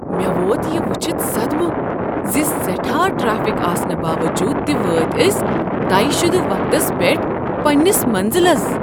مےٚ ووت یہِ وٖچھتھ صدمہٕ ز سیٹھا ٹرٛیفک آسنہٕ باووٚجوٗد تہ وٲتۍ أسۍ طے شدٕ وقتس پیٹھ پنٛنس مٔنٛزلس !"